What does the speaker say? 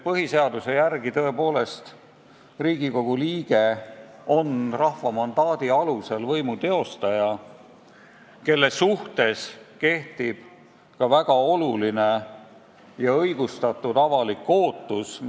Põhiseaduse järgi on Riigikogu liikmed rahva mandaadi alusel võimu teostajad ja nii kehtib nende puhul ka väga suur ja õigustatud avalik ootus.